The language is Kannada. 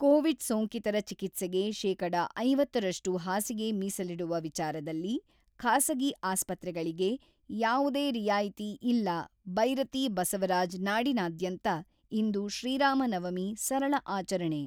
ಕೋವಿಡ್ ಸೋಂಕಿತರ ಚಿಕಿತ್ಸೆಗೆ ಶೇಕಡ ಐವತ್ತರಷ್ಟು ಹಾಸಿಗೆ ಮೀಸಲಿಡುವ ವಿಚಾರದಲ್ಲಿ ಖಾಸಗಿ ಆಸ್ಪತ್ರೆಗಳಿಗೆ ಯಾವುದೇ ರಿಯಾಯಿತಿ ಇಲ್ಲ-ಬೈರತಿ ಬಸವರಾಜ್ ನಾಡಿನಾದ್ಯಂತ ಇಂದು ಶ್ರೀರಾಮ ನವಮಿ ಸರಳ ಆಚರಣೆ